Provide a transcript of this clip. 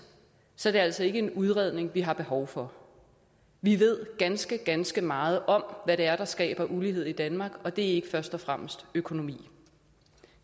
så er det altså ikke en udredning vi har behov for vi ved ganske ganske meget om hvad det er der skaber ulighed i danmark og det er ikke først og fremmest økonomi